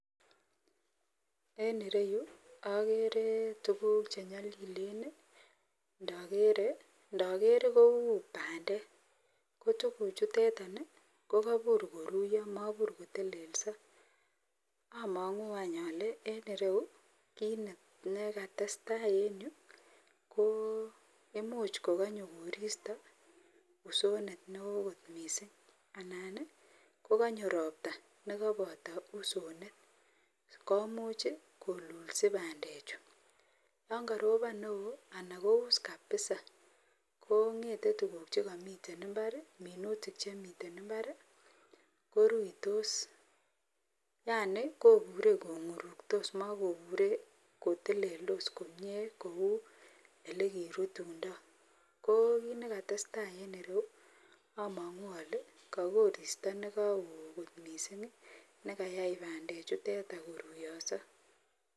En ireyu agere tuguk chenyalilen ndager Kou bandek kotuguk chuteton kokabutmr koruiyo akomabur kotelelso amangu ale en ireyu kit nekatestai en ireyu ko imuch kokanyonkoristo usonet neon kot mising anan kokanyo robta nekabato usonet komuch kolulsi bandek Chu yangarobon neon akous kabisa kongeten tuguk tugul chekamiten imbar minutik Chemiten imbar koruitos Yani koburen konguruktos makobure ko teleldos komie Kou yelekirutundoi ko kit nekatestai en ireyu amangu ale ka koristo nekaon kot mising nekayai bandek chuteton ko ruyoiso